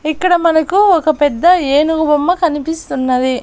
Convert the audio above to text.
ఇక్కడ మనకు ఒక పెద్ద ఏనుగు బొమ్మ కనిపిస్తున్నది.